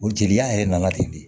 O jeliya yɛrɛ nana ten de